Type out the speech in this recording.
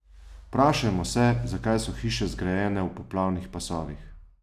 Vprašajmo se, zakaj so hiše zgrajene v poplavnih pasovih?